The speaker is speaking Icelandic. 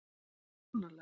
Finnst það sannarlega.